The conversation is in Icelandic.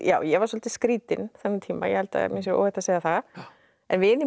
ég var svolítið skrýtin þennan tíma ég held að mér sé óhætt að segja það en vinir mínir